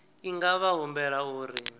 i nga vha humbela uri